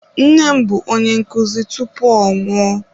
Nne m bụ onye nkụzi tupu ọ nwụọ.